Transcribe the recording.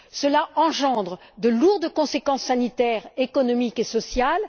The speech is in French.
Cela engendre de lourdes conséquences sanitaires, économiques et sociales.